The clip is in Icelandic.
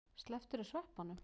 Slepptirðu sveppunum?